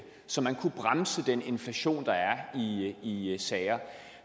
så man kunne bremse den inflation der er i sagerne